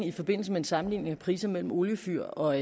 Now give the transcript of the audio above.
i forbindelse med en sammenligning af priser mellem oliefyr og